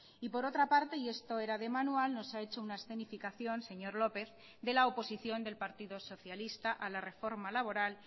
y por otra parte y esto era de manual nos ha hecho una escenificación señor lópez de la oposición del partido socialista a la reforma laboral